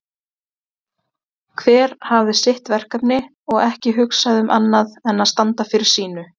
Hver hafði sitt verkefni og ekki hugsað um annað en að standa fyrir sínu.